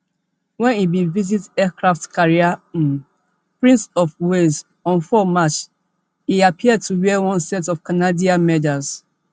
wen e bin visit aircraft carrier hms prince of wales on four march e appear to wear one set of canadian medals